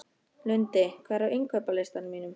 Lundi, hvað er á innkaupalistanum mínum?